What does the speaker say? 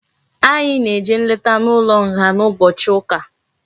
Anyi na eje nleta na ulo nga na ubochi uka